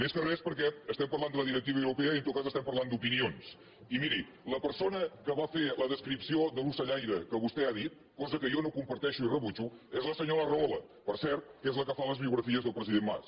més que res perquè estem parlant de la directiva europea i en tot cas estem parlant d’opinions i miri la persona que va fer la descripció de l’ocellaire que vostè ha dit cosa que jo no comparteixo i rebutjo és la senyora rahola per cert que és la que fa les biografies del president mas